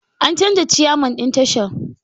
An canja ciyaman ɗin tashar